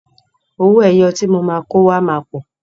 Owó ẹyọ tí mo máa kó wá máa pọ̀.